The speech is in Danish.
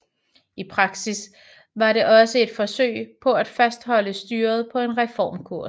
I praksis var det også et forsøg på at fastholde styret på en reformkurs